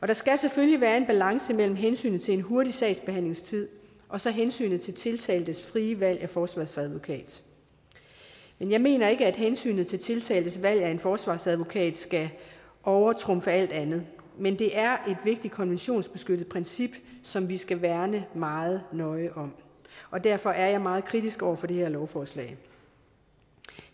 der skal selvfølgelig være en balance mellem hensynet til en hurtig sagsbehandlingstid og så hensynet til tiltaltes frie valg af forsvarsadvokat men jeg mener ikke at hensynet til tiltaltes valg af en forsvarsadvokat skal overtrumfe alt andet men det er et vigtigt konventionsbeskyttet princip som vi skal værne meget nøje om og derfor er jeg meget kritisk over for det her lovforslag